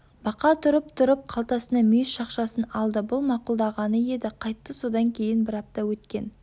бақа тұрып тұрып қалтасынан мүйіз шақшасын алды бұл мақұлдағаны еді қайтты содан кейін бір апта өткен